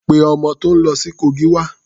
Pé ọmọ tó ń lọ sí Kogi wá.